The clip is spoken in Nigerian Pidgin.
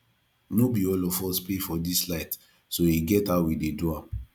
no be all of us pay for dis light so e get how we dey do am